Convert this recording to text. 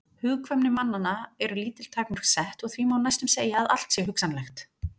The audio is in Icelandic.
Hugkvæmni mannanna eru lítil takmörk sett og því má næstum segja að allt sé hugsanlegt.